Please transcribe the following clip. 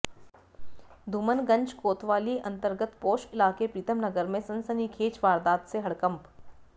धूमनगंज कोतवाली अंतर्गत पॉश इलाके प्रीतम नगर में सनसनीखेज वारदात से हडकंप